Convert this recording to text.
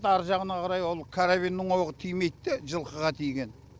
ар жағына қарай ол каравеннің оғы тимейді де жылқыға тиген